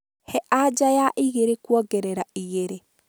he aja ya igĩrĩ kuongerera igĩrĩ